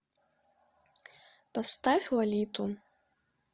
поставь лолиту